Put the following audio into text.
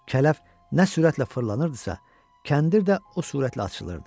Kələf nə sürətlə fırlanırdısa, kəndir də o sürətlə açılırdı.